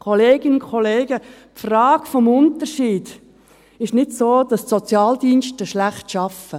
Kolleginnen und Kollegen, die Frage des Unterschieds ist nicht so, dass die Sozialdienste schlecht arbeiten.